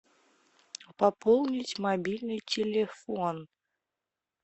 пополнить мобильный телефон